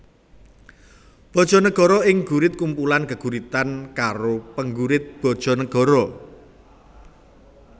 Bojonegoro Ing Gurit kumpulan geguritan karo penggurit Bojonegoro